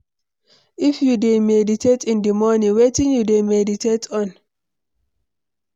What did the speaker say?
If you dey meditate in di morning, wetin you dey meditate on?